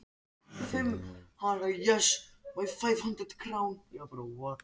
Finn alheimsorkuna fossa gegnum hverja taug.